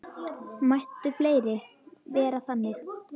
Mættu fleiri vera þannig.